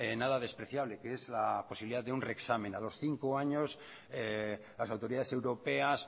nada despreciable que es la posibilidad de un reexamen a los cinco años las autoridades europeas